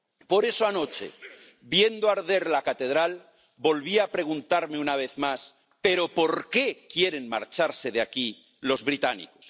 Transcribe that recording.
Por eso anoche, viendo arder la catedral, volví a preguntarme una vez más Pero, ¿por qué quieren marcharse de aquí los británicos?.